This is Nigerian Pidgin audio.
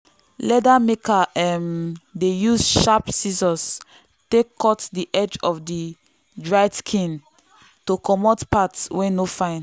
leather maker um dey use sharp scissors take cut the edge of dried skin to comot parts wey no fine.